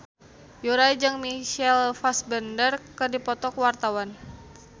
Yura jeung Michael Fassbender keur dipoto ku wartawan